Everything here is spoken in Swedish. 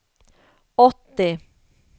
åttio